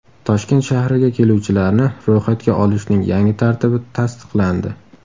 Toshkent shahriga keluvchilarni ro‘yxatga olishning yangi tartibi tasdiqlandi .